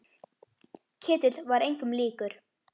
Ketill var engum líkur.